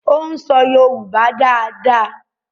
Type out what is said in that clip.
o n so yoruba dá dá.